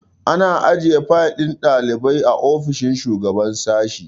Ana ajiye fayil ɗin ɗalibai a ofishin shugaban sashi